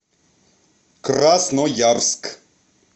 красноярск